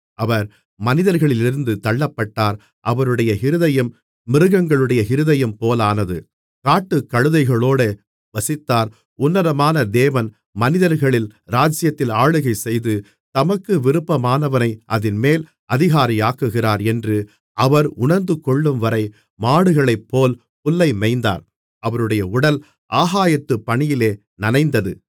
அவர் மனிதர்களிலிருந்து தள்ளப்பட்டார் அவருடைய இருதயம் மிருகங்களுடைய இருதயம் போலானது காட்டுக்கழுதைகளோடே வசித்தார் உன்னதமான தேவன் மனிதர்களின் ராஜ்ஜியத்தில் ஆளுகை செய்து தமக்கு விருப்பமானவனை அதின்மேல் அதிகாரியாக்குகிறார் என்று அவர் உணர்ந்துகொள்ளும்வரை மாடுகளைப்போல் புல்லை மேய்ந்தார் அவருடைய உடல் ஆகாயத்துப் பனியிலே நனைந்தது